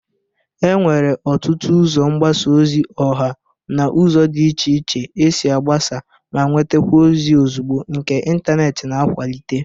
Enwere ọtụtụ ụzọ mgbasa ozi ọha na ụzọ dị iche iche esi agbasa ma nwetakwa ozi ozugbo nke intaneeti na-akwalite.